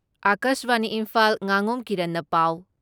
ꯑꯀꯥꯁꯕꯥꯅꯤ ꯏꯝꯐꯥꯜ ꯉꯥꯉꯣꯝ ꯀꯤꯔꯟꯅ ꯄꯥꯎ